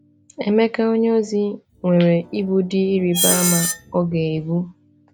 Emeka onyeozi nwere ibu dị ịrịba ama ọ ga-ebu.